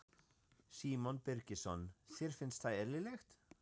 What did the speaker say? Símon Birgisson: Þér finnst það eðlilegt?